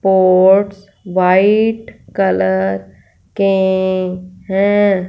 Ports white colour के हैं।